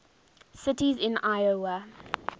cities in iowa